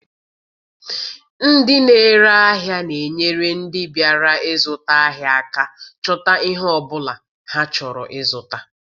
Ndị n'ere ahịa na-enyere ndị bịara ịzụta ahịa aka chọta ihe ọ bụla ha chọrọ ịzụta.